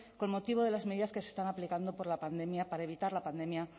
con motivo de las medidas que se están aplicando por la pandemia para evitar la pandemia